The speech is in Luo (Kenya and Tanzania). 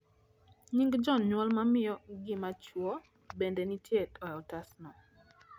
Nying janyuol ma miyo gi machuo bende nitie e otasno